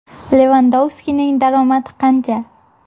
Levandovskining daromadi qancha?